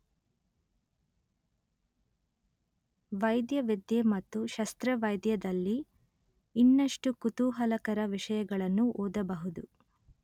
ವೈದ್ಯವಿದ್ಯೆ ಮತ್ತು ಶಸ್ತ್ರವೈದ್ಯ ದಲ್ಲಿ ಇನ್ನಷ್ಟು ಕುತೂಹಲಕರ ವಿಷಯಗಳನ್ನುಓದಬಹುದು